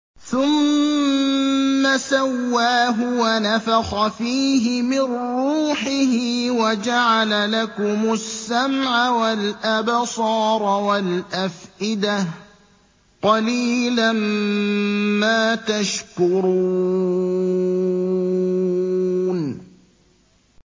ثُمَّ سَوَّاهُ وَنَفَخَ فِيهِ مِن رُّوحِهِ ۖ وَجَعَلَ لَكُمُ السَّمْعَ وَالْأَبْصَارَ وَالْأَفْئِدَةَ ۚ قَلِيلًا مَّا تَشْكُرُونَ